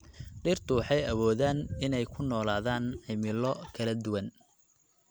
Dhirtu waxay awoodaan inay ku noolaadaan cimilo kala duwan.